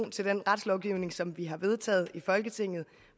til den retslovgivning som vi har vedtaget i folketinget